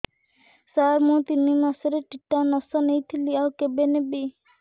ସାର ମୁ ତିନି ମାସରେ ଟିଟାନସ ନେଇଥିଲି ଆଉ କେବେ ନେବି